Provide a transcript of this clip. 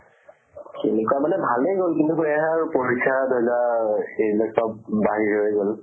পৰীক্ষা মানে ভালে গল, কিন্তু এয়া আৰু পৰীক্ষা এইবোৰ চব বাহৰ হৈ গʼল।